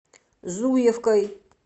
зуевкой